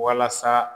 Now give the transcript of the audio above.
Walasa